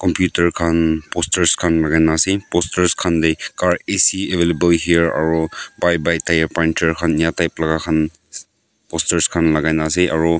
khan posters khan mari na ase posters khan de car AC available here aro bye bye tyre puncture inika type laga khan posters khan lagai na ase aro--